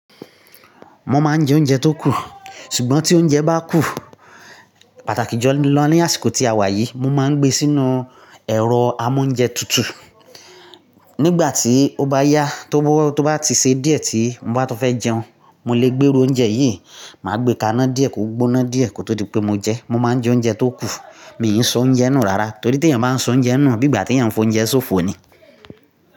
Mo máa ń jẹ oúnjẹ tó kù, ṣùgbọ́n tí oúnjẹ bá kù, pàtàkì julọ ní àsìkò tí a wà yìí, mo máa ń gbé sínú ẹ̀rọ́ amóúnjẹtutù. Nígbà tí ó bá yá tó bá ti ṣe díẹ̀ tí mo bá tun fẹ́ jẹun, mo lè gbé irí oúnjẹ yìí, màá gbé ka iná díẹ̀ kó gbóná díẹ̀ kó tó di pé mo jẹ. Mo máa ń jẹ oúnjẹ tó kù. Mi ò kin ṣọ oúnjẹ nù rárá torí tí èèyàn bá ń ṣọ oúnjẹ nù, bí ìgbà tí èèyàn fi oúnjẹ ṣófo ni.